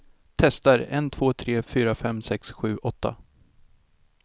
Testar en två tre fyra fem sex sju åtta.